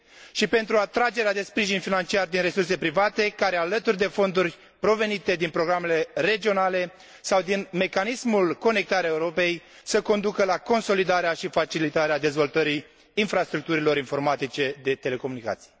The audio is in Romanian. și pentru atragerea de sprijin financiar din resurse private care, alături de fonduri provenite din programele regionale sau din mecanismul Conectarea Europei, să conducă la consolidarea și facilitarea dezvoltării infrastructurilor informatice de telecomunicații.